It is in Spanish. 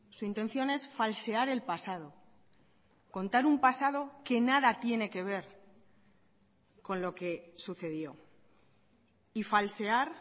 su intención es falsear el pasado contar un pasado que nada tiene que ver con lo que sucedió y falsear